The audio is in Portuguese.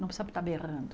Não precisa estar berrando.